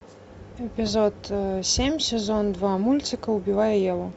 эпизод семь сезон два мультика убивая еву